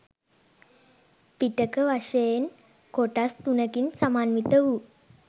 පිටක වශයෙන් කොටස් තුනකින් සමන්විත වූ